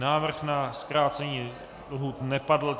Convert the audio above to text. Návrh na zkrácení lhůt nepadl.